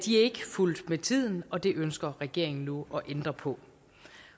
fulgt med tiden og det ønsker regeringen nu at ændre på